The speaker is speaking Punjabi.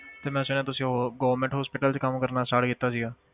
ਤੇ ਮੈਂ ਸੁਣਿਆ ਤੁਸੀਂ ਉਹ government hospital 'ਚ ਕੰਮ ਕਰਨਾ start ਕੀਤਾ ਸੀਗਾ।